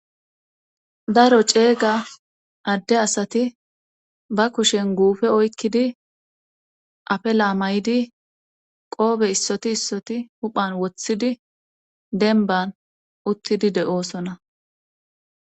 daro ceeyga adde asati ba kushen guufe oykkidi afe laamaydi qoobe issoti issoti huphan woththidi denban uttidi de7oosona